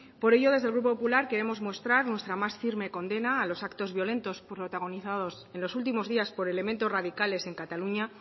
por ello desde el grupo popular queremos mostrar nuestra más firme condena a los actos violentos protagonizados en los últimos días por elementos radicales en cataluña